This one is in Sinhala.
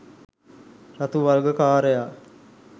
රතු වල්ගකාරයා